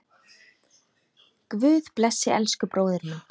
Guð blessi elsku bróður minn.